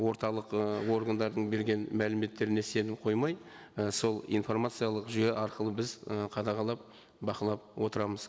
орталық ы органдардың берген мәліметтеріне сенім қоймай і сол информациялық жүйе арқылы біз і қадағалап бақылап отырамыз